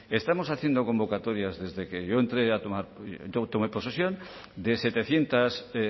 estamos haciendo convocatorias desde que yo tomé posesión de setecientos